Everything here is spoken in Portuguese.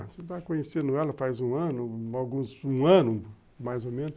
Você vai conhecer ela faz um ano, aluguns, um ano mais ou menos.